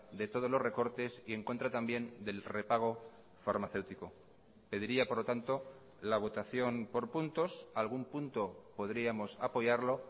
de todos los recortes y en contra también del repago farmacéutico pediría por lo tanto la votación por puntos algún punto podríamos apoyarlo